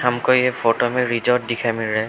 हमको यह फोटो में रिसोर्ट दिखाई मिल रहा है।